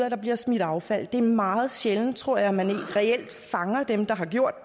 at der bliver smidt affald det er meget sjældent tror jeg at man reelt fanger dem der har gjort